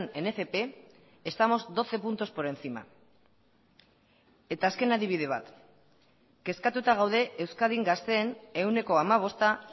en fp estamos doce puntos por encima eta azken adibide bat kezkatuta gaude euskadin gazteen ehuneko hamabosta